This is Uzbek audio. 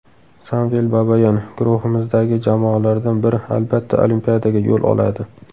Samvel Babayan: Guruhimizdagi jamoalardan biri albatta Olimpiadaga yo‘l oladi .